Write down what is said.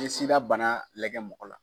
Ni sida bana lajɛ mɔgɔ la.